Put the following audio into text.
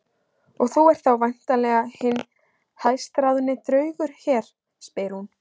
Og þú ert þá væntanlega hinn hæstráðandi draugur hér, spyr hún.